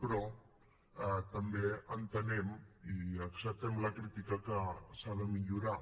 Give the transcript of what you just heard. però també entenem i acceptem la crítica que s’ha de millorar